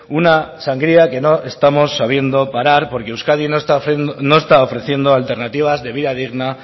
una sangría que no estamos sabiendo parar porque euskadi no está ofreciendo alternativas de vida digna